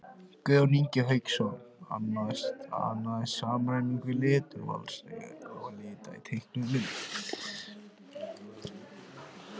Guðjón Ingi Hauksson annaðist samræmingu leturvals og lita í teiknuðum myndum.